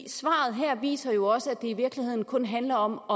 svaret her viser jo også at i virkeligheden kun handler om